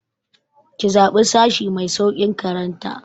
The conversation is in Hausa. Ki zaɓi sashi mai sauƙin karanta!